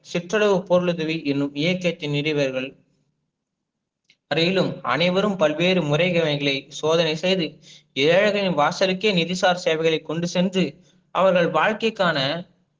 சிற்றளவு பொருளுதவி எணும் இயக்கத்தின் நிறுவினர்கள் அனைவரும் பல்வேறு முறைகளை சோதனை செய்து ஏழைகளின் வாசலுக்கே நிதிசா சேவைகளை கொண்டு சென்று அவர்கள் வாழ்க்கைகான